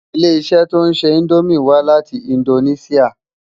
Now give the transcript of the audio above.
Ilé-iṣè tó nṣé Indómi wá láti Indóniṣiá